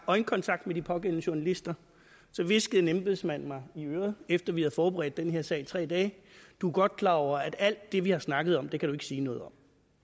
øjenkontakt med de pågældende journalister hviskede en embedsmand mig i øret efter at vi havde forberedt den her sag i tre dage du er godt klar over at alt det vi har snakket om kan du sige noget om